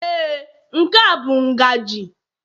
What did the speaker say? Ee, nke a bụ ngaji